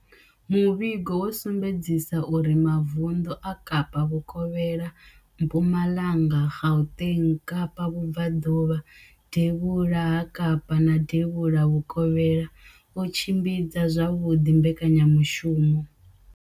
Muvhigo wo sumbedzisa uri mavundu a Kapa vhukovhela, Mpumalanga, Gauteng, Kapa vhubvaḓuvha, devhula ha Kapa na devhula vhukovhela o tshimbidza zwavhuḓi mbekanyamushumo